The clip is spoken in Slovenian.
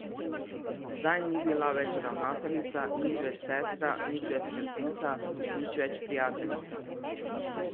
Zdaj ni bila več ravnateljica, nič več sestra, nič več skrbnica, nič več prijateljica.